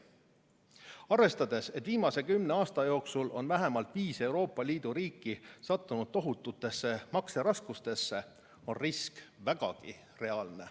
Arvestades, et viimase kümne aasta jooksul on vähemalt viis Euroopa Liidu riiki sattunud tohututesse makseraskustesse, on risk vägagi reaalne.